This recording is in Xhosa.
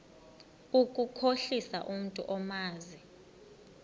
ukukhohlisa umntu omazi